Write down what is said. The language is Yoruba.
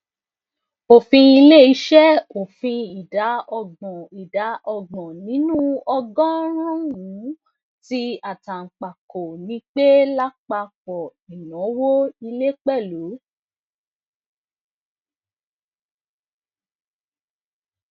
ofin ileiṣẹ ofin ida ọgbọn ida ọgbọn ninu ogorunun ti atanpako ni pe lapapọ inawo ile pẹlu